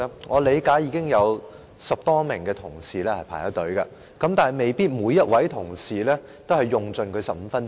我理解有10多名同事輪候發言，但未必每位同事都會用盡15分鐘。